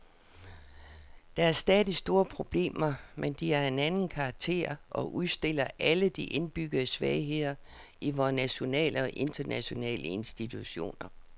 Der er stadig store problemer, men de er af en anden karakter og udstiller alle de indbyggede svagheder i vore nationale og internationale institutioner.